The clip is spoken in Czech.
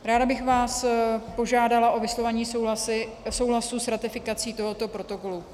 Ráda bych vás požádala o vyslovení souhlasu s ratifikací tohoto protokolu.